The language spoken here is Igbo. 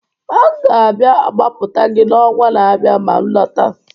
M ga-abịa gbapụta gị n'ọnwa na-abịa ma m lọta